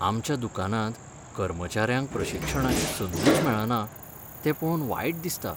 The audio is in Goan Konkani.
आमच्या दुकानांत कर्मचाऱ्यांक प्रशिक्षणाची संदूच मेळना तें पळोवन वायट दिसता.